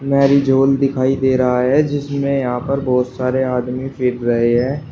Marriage hall दिखाई दे रहा है जिसमें यहां पर बहोत सारे आदमी फिर रहे है।